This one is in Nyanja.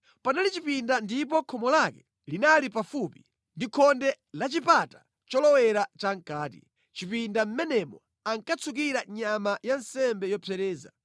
Panali chipinda ndipo khomo lake linali pafupi ndi khonde la chipata cholowera chamʼkati. Mʼchipinda mʼmenemo ankatsukira nyama ya nsembe yopsereza.